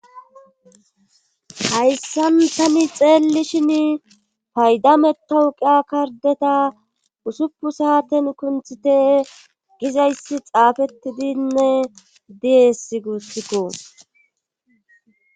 hayssanthani xeellishin paydametawuqiya kardeta usuppu saaten kunthite gizayssi xaafettidinne diyess guussikko